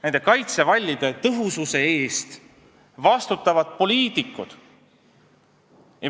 Nende kaitsevallide tõhususe eest vastutavad poliitikud.